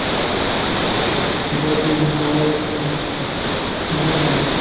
дарью николаевну зонову